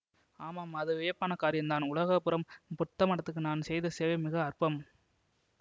ஆமாம் அது வியப்பான காரியந்தான் உலகபுரம் புத்தமடத்துக்கு நான் செய்த சேவை மிக அற்பம்